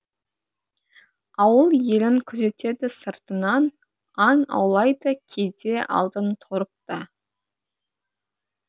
ауыл елін күзетеді сыртынан аң аулайды кейде алдын торып та